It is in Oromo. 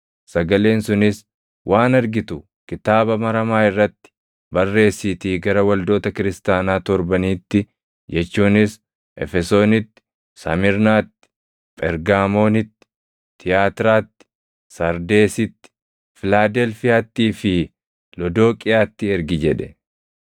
sagaleen sunis, “Waan argitu kitaaba maramaa irratti barreessiitii gara waldoota kiristaanaa torbaniitti jechuunis Efesoonitti, Samirnaatti, Phergaamoonitti, Tiyaatiraatti, Sardeesitti, Filaadelfiyaattii fi Lodooqiyaatti ergi” jedhe.